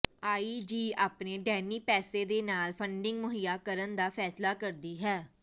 IG ਆਪਣੇ ਡੈਨੀ ਪੈਸੇ ਦੇ ਨਾਲ ਫੰਡਿੰਗ ਮੁਹੱਈਆ ਕਰਨ ਦਾ ਫੈਸਲਾ ਕਰਦੀ ਹੈ